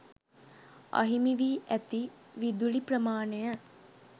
අහිමි වී ඇති විදුලි ප්‍රමාණය